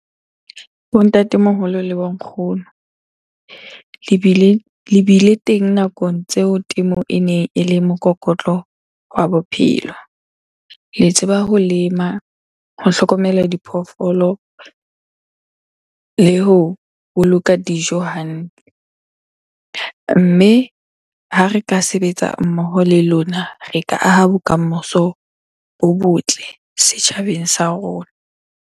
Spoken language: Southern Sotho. Bo ntatemoholo le bo nkgono le bile teng nakong tseo temo ene ele mokokotlo wa bophelo. Le tseba ho lema, ho hlokomela diphoofolo le ho boloka dijo hantle. Mme ha re ka sebetsa mmoho le lona, re ka aha bokamoso bo botle setjhabeng sa rona.